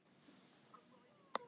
Evelyn, hvernig er dagskráin í dag?